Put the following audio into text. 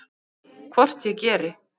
Hvort ég geri!